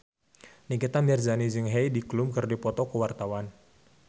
Nikita Mirzani jeung Heidi Klum keur dipoto ku wartawan